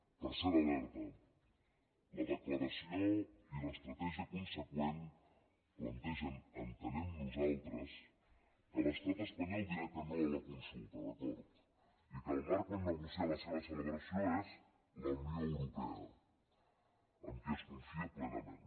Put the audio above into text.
tercera alerta la declaració i l’estratègia conseqüent plantegen ho entenem nosaltres que l’estat espanyol dirà que no a la consulta d’acord i que el marc on negociar la seva celebració és la unió europea amb qui es confia plenament